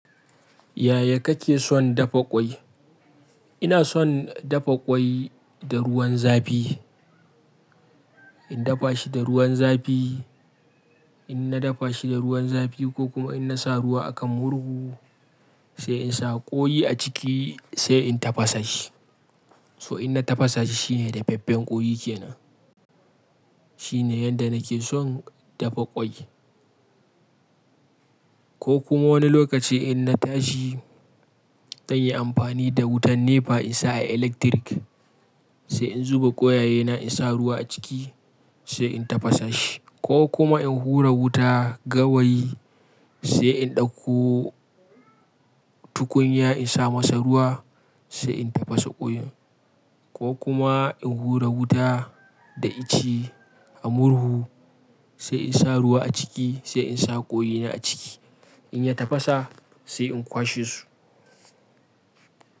Yaya kake son dafa ƙwai? Ina son dafa ƙwai da ruwan zafi. In dafa shi da ruwan zafi, in na dafa shi da ruwan zafi ko kuma in na sa ruwa a kan murhu sai in sa ƙoyi a ciki sai in tafasa shi. To in na tafasa shi shine dafaffen ƙoyi kenan. Shine yanda nake son dafa ƙwai. Ko kuma wani lokaci in na tashi zan yi amfani da wutan nepa in sa a eletirik sai in zuba ƙwayaye na in sa ruwa a ciki sai in tafasa shi ko kuma in hura wuta gawayi sai in ɗauko tukunya in sa masa ruwa sai in tafasa ƙoyin ko kuma in hura wuta da ice a murhu sai in sa ruwa a ciki sai in sa ƙoyina a ciki in ya tafasa sai in kwashe su.